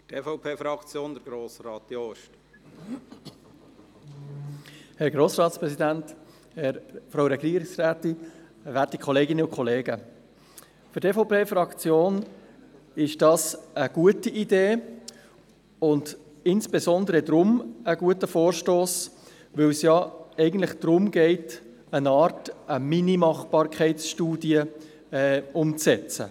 Für die EVP-Fraktion ist das eine gute Idee und insbesondere deshalb ein guter Vorstoss, weil es ja eigentlich darum geht, eine Mini-Machbarkeitsstudie umzusetzen.